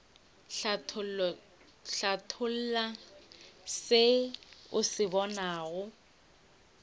hlatholla se o se bonago